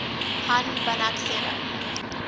hahn banach theorem